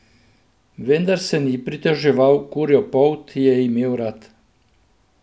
Vendar se ni pritoževal, kurjo polt je imel rad.